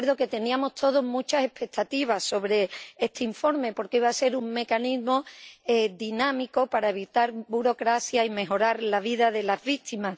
y recuerdo que teníamos todos muchas expectativas sobre este informe, porque iba a ser un mecanismo dinámico para evitar burocracia y mejorar la vida de las víctimas.